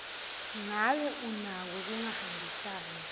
ngabe unako kungahambisani